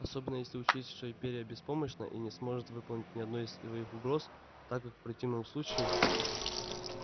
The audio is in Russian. особенно если учесть что империя беспомощна и не сможет выполнить ни одной из своих угроз так как в противном случае